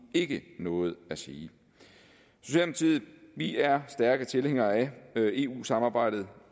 ikke noget at sige vi er i stærke tilhængere af eu samarbejdet